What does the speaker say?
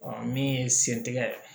min ye sen tigɛ